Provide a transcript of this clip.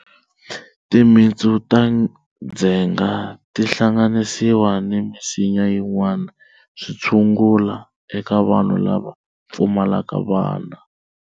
Timitsu ta ndzhenga ti hlanganisiwa ni misinya yin'wana swi tshungula eka vanhu lava pfumalaka vana.